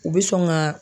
U bɛ sɔn ka